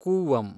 Cooum